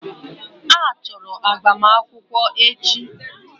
Ha chọrọ agbamakwụkwọ echi.